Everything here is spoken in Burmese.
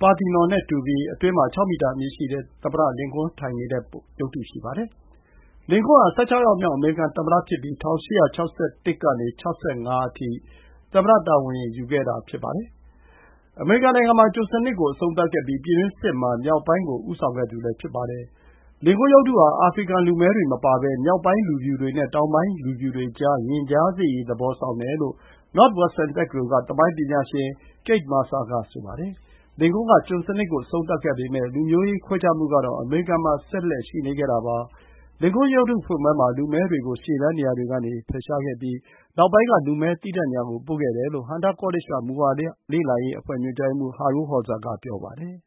Parthenon နဲ့ တူပြီး အတွင်းမှာ ၆ မီတာ အမြင့်ရှိတဲ့ သမ္မတလင်ကွန်းထိုင်နေတဲ့ရုပ်တု ရှိပါတယ်။ လင်ကွန်းဟာ ၁၆ ယောက်မြောက် အမေရိကန်သမ္မတဖြစ်ပြီး ၁၈၆၁ ကနေ ၆၅ အထိ သမ္မတတာဝန်ယူခဲ့တာ ဖြစ်ပါတယ်။ အမေရိကန်နိုင်ငံမှာ ကျွန်စနစ်ကို အဆုံးသတ် ခဲ့ပြီး ပြည်တွင်းစစ်မှာ မြောက်ပိုင်းကို ဦးဆောင်ခဲ့သူဖြစ်ပါတယ်။ လင်ကွန်းရုပ်တုဟာ အာဖရိကန် လူမည်းတွေမပါဘဲ မြောက်ပိုင်းလူဖြူတွေနဲ့ တောင်ပိုင်းလူဖြူတွေကြား ရင်ကြားစေ့ရေး သဘောဆောင်တယ်လို့ Northwestern တက္ကသိုလ်က သမိုင်းပညာရှင် Kate Masur က ဆိုပါတယ်။ လင်ကွန်းဟာ ကျွန်စနစ်ကို အဆုံးသတ်ခဲ့ပေမယ့် လူမျိုးရေးခွဲခြားမှုကတော့ အမေရိကန်မှာ ဆက်လက် ရှိနေခဲ့တာပါ။ လင်ကွန်းရုပ်တုဖွင့်ပွဲမှာ လူမည်းတွေ ကို ရှေ့တန်းနေရာတွေကနေဖယ်ခဲ့ပြီး နောက်ပိုင်းက လူမည်းသီးသန့်နေရာကို ပို့ခဲ့တယ်လို့ Hunter College က မူဝါဒ လေ့လာရေး အဖွဲ့ ညွှန်ကြားရေးမှူး Harold Holzer က ပြောပါတယ်